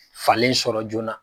Falen sɔrɔ joona